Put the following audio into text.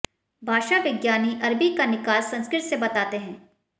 भाषा विज्ञानी अरबी का निकास संस्कृत से बताते हैं